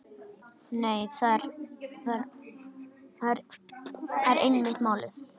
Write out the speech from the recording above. Nei, það er einmitt málið.